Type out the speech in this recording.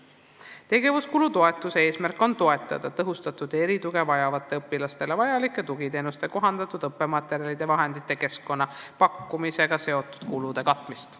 Tegevuskulu toetuse eesmärk on toetada tõhustatud tuge ja erituge vajavatele õpilastele vajalike tugiteenuste, kohandatud õppematerjalide ja -vahendite, samuti -keskkonna pakkumisega seotud kulude katmist.